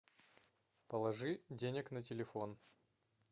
положи денег на телефон